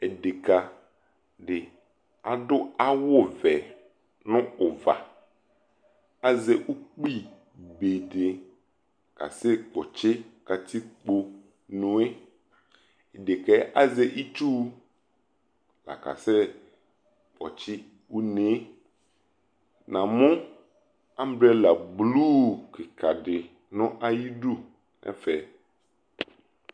Edeka di adʋ awʋ vɛ nʋ ʋva Azɛ ukpi be di kasɛ kpɔtsi nu e Deka yɛ azɛ itsu kasɛ kpɔtsi une e Namʋ abrela blu kika di nʋ ayidu nɛfɛ